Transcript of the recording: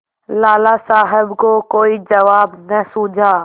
लाला साहब को कोई जवाब न सूझा